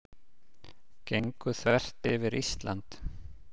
Gengu þvert yfir Ísland